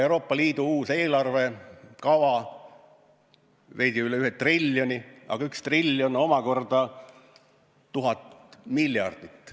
Euroopa Liidu uus eelarvekava on veidi üle ühe triljoni, aga üks triljon omakorda on tuhat miljardit.